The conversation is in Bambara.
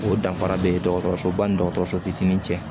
O danfara be dɔgɔtɔrɔsoba ni dɔgɔtɔrɔso fitiinin cɛ